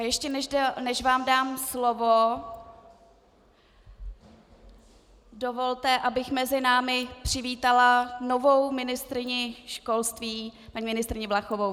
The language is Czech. A ještě než vám dám slovo, dovolte, abych mezi námi přivítala novou ministryni školství, paní ministryni Valachovou.